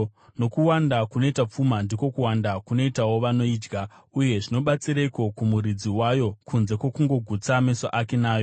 Nokuwanda kunoita pfuma, ndiko kuwanda kunoitawo vanoidya. Uye zvinobatsireiko kumuridzi wayo kunze kwokungogutsa meso ake nayo?